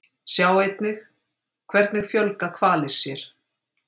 Sjá einnig: Hvernig fjölga hvalir sér?